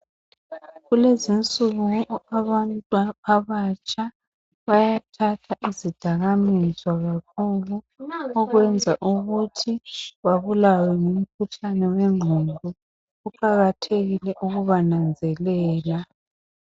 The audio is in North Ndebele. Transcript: Kulezinsuku abantu abatsha bayathatha izidakamizwa kakhulu okwenza ukuthi babulawe ngumkhuhlane wengqondo. Kuqakathekile ukubananzelela.